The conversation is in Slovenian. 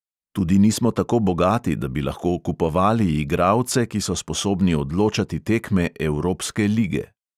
Tudi nismo tako bogati, da bi lahko kupovali igralce, ki so sposobni odločati tekme evropske lige.